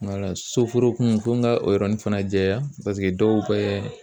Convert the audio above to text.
soforokun fo n ka o yɔrɔnin fana jɛya dɔw bɛ